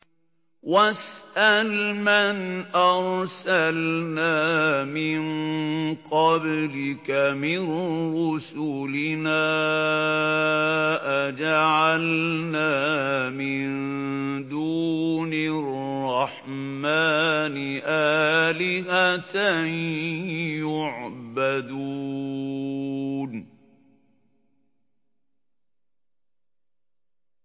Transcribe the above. وَاسْأَلْ مَنْ أَرْسَلْنَا مِن قَبْلِكَ مِن رُّسُلِنَا أَجَعَلْنَا مِن دُونِ الرَّحْمَٰنِ آلِهَةً يُعْبَدُونَ